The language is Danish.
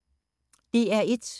DR1